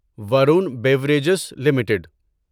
Varun beverages limited